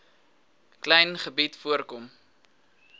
klein gebied voorkom